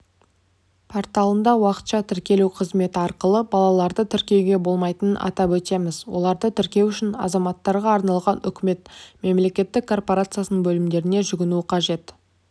порталында уақытша тіркелу қызметі арқылы балаларды тіркеуге болмайтынын атап өтеміз оларды тіркеу үшін азаматтарға арналғанүкімет мемлекеттік корпорациясының бөлімдеріне жүгіну қажет